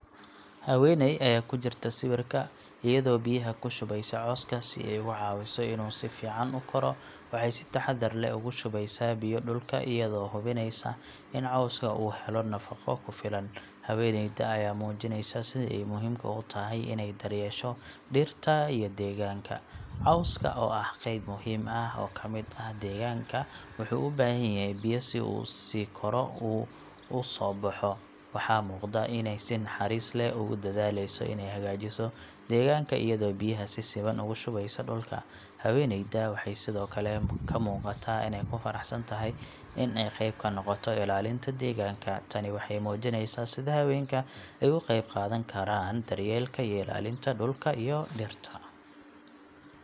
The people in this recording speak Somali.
Haweeney ayaa ku jirta sawirka, iyadoo biyaha ku shubeysa cawska si ay uga caawiso inuu si fiican u koro. Waxay si taxaddar leh ugu shubeysaa biyo dhulka iyadoo hubinaysa in cawska uu helo nafaqo ku filan. Haweeneyda ayaa muujinaysa sida ay muhiimka u tahay inay daryeesho dhirta iyo deegaanka. Cawska, oo ah qayb muhiim ah oo ka mid ah deegaanka, wuxuu u baahan yahay biyo si uu u sii koro oo u soo baxo. Waxaa muuqata inay si naxariis leh ugu dadaaleyso inay hagaajiso deegaanka iyadoo biyaha si siman ugu shubeysa dhulka. Haweeneyda waxay sidoo kale ka muuqataa inay ku faraxsan tahay in ay qayb ka noqoto ilaalinta deegaanka. Tani waxay muujinaysaa sida haweenka ay uga qeybqaadan karaan daryeelka iyo ilaalinta dhulka iyo dhirta.